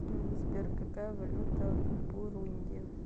сбер какая валюта в бурунди